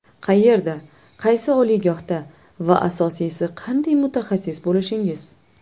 Qayerda, qaysi oliygohda va asosiysi qanday mutaxassis bo‘lishingiz.